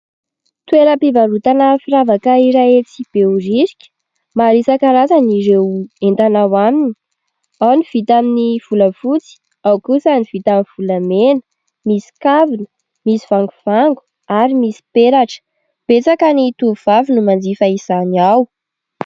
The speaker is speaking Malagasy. Toeram-pivarotana firavaka iray etsy behoririka. Maro isan-karazany ireo entana ao aminy, ao ny vita amin'ny volafotsy, ao kosa ny vita amin'ny volamena ; misy kavina, misy vangovango ary misy peratra. Betsaka ny tovovavy no manjifa izany ao.